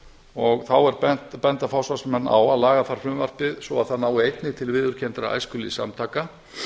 og þá benda forsvarsmenn á að laga þarf frumvarpið svo það nái einnig til viðurkenndra æskulýðssamtaka